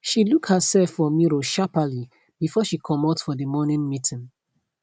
she look herself for mirror shapperly before she comot for the morning meeting